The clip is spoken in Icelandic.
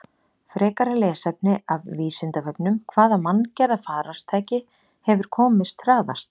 Frekara lesefni af Vísindavefnum: Hvaða manngerða farartæki hefur komist hraðast?